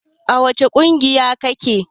A wace ƙungiya ka ke?